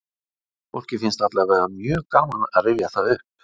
Fólki finnst allavega mjög gaman að rifja það upp.